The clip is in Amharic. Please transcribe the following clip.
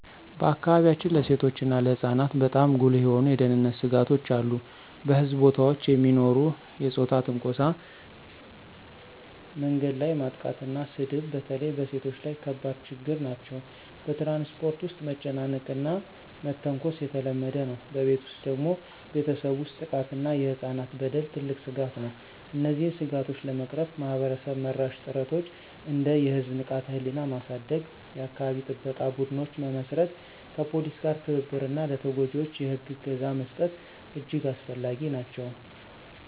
በአካባቢያችን ለሴቶችና ለህፃናት በጣም ጉልህ የሆኑ የደህንነት ስጋቶች አሉ። በሕዝብ ቦታዎች የሚኖሩ የፆታ ትንኮሳ፣ መንገድ ላይ ማጥቃትና ስድብ በተለይ በሴቶች ላይ ከባድ ችግኝ ናቸው። በትራንስፖርት ውስጥ መጨቃጨቅና መተንኮስ የተለመደ ነው። በቤት ውስጥ ደግሞ ቤተሰብ ውስጥ ጥቃት እና የህፃናት በደል ትልቅ ስጋት ነው። እነዚህን ስጋቶች ለመቅረፍ ማህበረሰብ-መራሽ ጥረቶች እንደ የህዝብ ንቃተ-ህሊና ማሳደግ፣ የአካባቢ ጥበቃ ቡድኖች መመስረት፣ ከፖሊስ ጋር ትብብር እና ለተጎጂዎች የህግ እገዛ መስጠት እጅግ አስፈላጊ ናቸው።